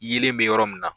Yelen bɛ yɔrɔ min na